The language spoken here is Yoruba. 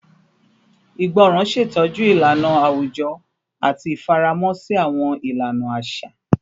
Ìgbọràn ṣetọju ilana awujọ ati ifaramọ si awọn ilana aṣa